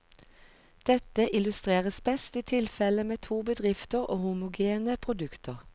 Dette illustreres best i tilfellet med to bedrifter og homogene produkter.